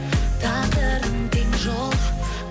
тағдырдың тең жолы